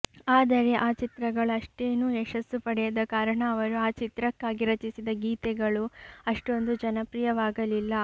ಆದರೆ ಆ ಚಿತ್ರಗಳು ಅಷ್ಟೇನೂ ಯಶಸ್ಸು ಪಡೆಯದ ಕಾರಣ ಅವರು ಆ ಚಿತ್ರಕ್ಕಾಗಿ ರಚಿಸಿದ ಗೀತೆಗಳೂ ಅಷ್ಟೊಂದು ಜನಪ್ರಿಯವಾಗಲಿಲ್ಲ